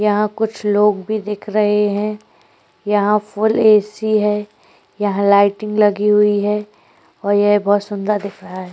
यह कुछ लोग भी देख रहै हैं यह फुल ऐसी है यह लाइटिंग लगी हुई है और यह बहुत सुंदर दिख रहा है।